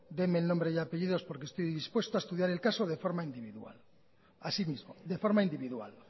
deme el nombre y apellidos porque estoy dispuesto a estudiar el caso de forma individual así mismo de forma individual